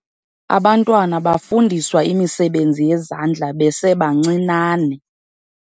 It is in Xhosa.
Abantwana bafundiswa imisebenzi yezandla besebancinane.